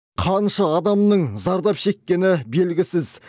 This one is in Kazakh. қанша адамның зардап шеккені белгісіз